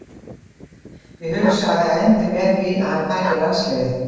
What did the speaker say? Ég hugsa að það endi með því að hann taki landsliðið.